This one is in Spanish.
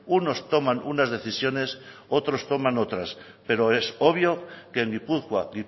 unos toman unas decisiones otros toman otras pero es obvio que en gipuzkoa